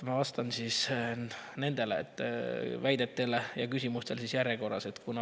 Ma vastan nendele väidetele ja küsimustele järjekorras.